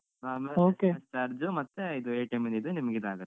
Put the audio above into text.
ಹ ಮತ್ತೆ ಇದು ಇದ್ದು ನಿಮ್ಗೆ ಇದ್ ಆಗತ್ತೆ.